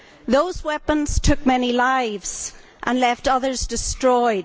Those weapons took many lives and left others destroyed.